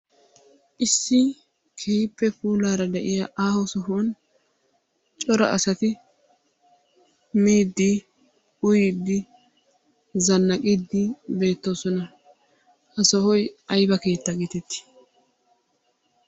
Issi keehippe puulaara de"iyaa aaho sohuwan cora asati miiddi, uyiiddi zannaqiiddi beettoosona. Ha sohoy ayba keetta geetetti?